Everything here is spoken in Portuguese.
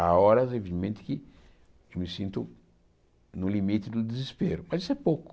Há horas, evidentemente, que que me sinto no limite do desespero, mas isso é pouco.